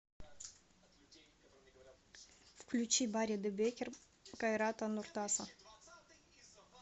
включи бари де бекер кайрата нуртаса